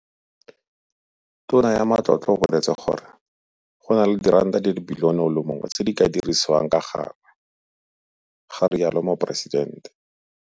Tona ya Matlotlo o boletse gore [, go na le diranta di le bilione o le mongwe tse di ka dirisiwang ka gangwe, ga rialo Moporesidente.